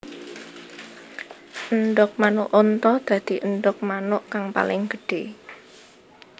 Endhog manuk unta dadi endhog manuk kang paling gedhé